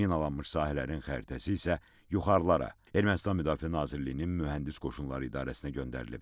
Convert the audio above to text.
Minalanmış sahələrin xəritəsi isə yuxarılara Ermənistan Müdafiə Nazirliyinin mühəndis qoşunları idarəsinə göndərilib.